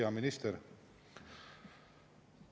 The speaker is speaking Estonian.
Hea minister!